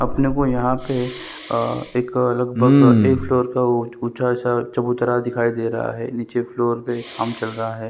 अपने को यहाँ पे एक अ लगभग एक फ्लोर का ऊँचा सा चबूतरा दिखाई दे रहा है नीचे फ्लोर पे काम चल रहा है ।